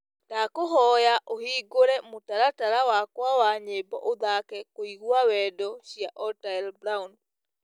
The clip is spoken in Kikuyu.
Ndakũhoya ũhĩngũre mũtaratara wakwa wa nyĩmbo ũthake kũĩgwa wendo cĩa otile brown